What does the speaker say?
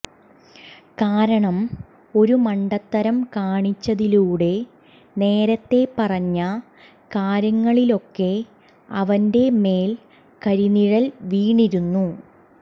കാരണം ഒരു മണ്ടത്തരം കാണിച്ചതിലൂടെ നേരത്തെ പറഞ്ഞ കാര്യങ്ങളിലൊക്കെ അവന്റെ മേൽ കരിനിഴൽ വീണിരിക്കുന്നു